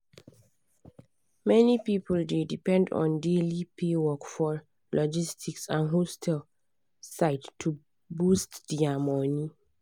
many people dey depend on daily pay work for logistic and hostel side to boost their money.